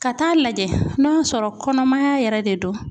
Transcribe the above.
Ka taa lajɛ ,n'o y'a sɔrɔ kɔnɔmaya yɛrɛ de don.